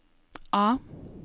A